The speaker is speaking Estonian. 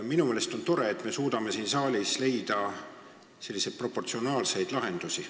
Minu meelest on tore, et me suudame siin saalis leida selliseid proportsionaalseid lahendusi.